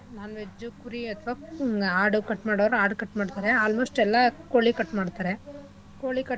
non-veg ಕುರಿ ಅಥವಾ ಹ್ಮ್‌ ಆಡು cut ಮಾಡೋರ್ ಆಡು cut ಮಾಡ್ತರೆ almost ಎಲ್ಲಾ ಕೋಳಿ cut ಮಾಡ್ತರೆ.